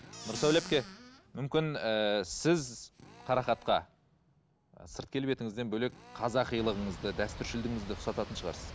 нұрсәуле әпке мүмкін ііі сіз қарақатқа сырт келбетіңізден бөлек қазақилығыңызды дәстүршілдігіңізді ұқсататын шығарсыз